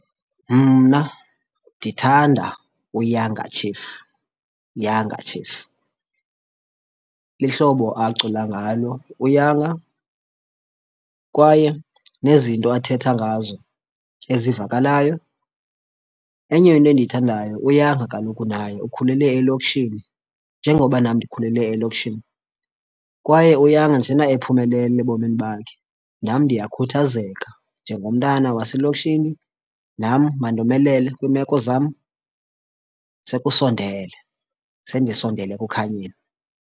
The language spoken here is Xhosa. Mna ndithanda uYounger Chief, Younger Chief lihlobo acula ngalo. UYounger kwaye nezinto athetha ngazo ezivakalayo. Enye into endiyithandayo uYounger kaloku naye ukhulele elokishini, njengoba nam ndikhulele elokishini, kwaye uYounger njena ephumelele ebomini bakhe nam ndiyakhuthazeka njengomntana waselokishini, nam mandomelele kwiimeko zam sekusondele, sendisondele ekukhanyeni.